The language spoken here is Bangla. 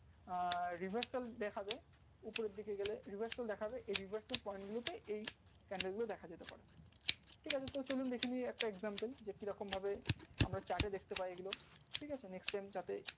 আর reserve তো gap candle গুলো একসাথে একটা example আমরা chat এ দেখতে পই।